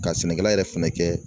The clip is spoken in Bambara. Ka sɛnɛkɛla yɛrɛ fɛnɛ kɛ